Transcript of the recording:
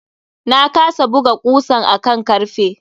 Na kasa buga kusan a kan karfe.